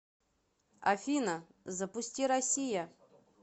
афина запусти россия